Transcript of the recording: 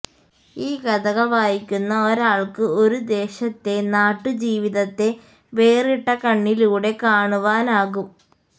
ഈ കഥകള് വായിക്കുന്ന ഒരാള്ക്ക് ഒരു ദേശത്തെ നാട്ടുജീവിതത്തെ വേറിട്ട കണ്ണിലൂടെ കാണുവാനാകും